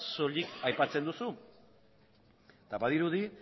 soilik aipatzen duzu eta badirudi